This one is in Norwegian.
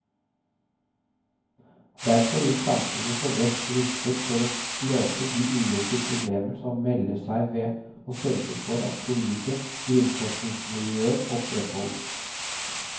Derfor vil samfunnet stå best rustet for å løse de ulike problemer som melder seg ved å sørge for at solide grunnforskningsmiljøer opprettholdes.